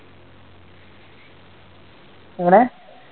എങ്ങനെ